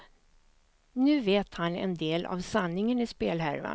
Nu vet han en del av sanningen i spelhärvan.